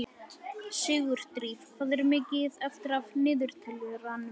Sigurdríf, hvað er mikið eftir af niðurteljaranum?